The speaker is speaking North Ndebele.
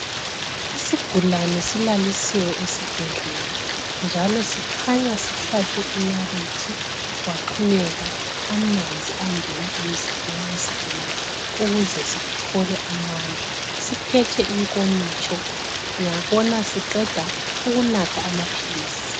Isigulane silalisiwe esibhedlela njalo sikhanya sihlatshwe inalithi kwaxhonyekwa amanzi angena emzimbeni wesigulane ukuze sithole amandla siphethe inkomitsho ngiyabona siqeda ukunatha amaphilisi.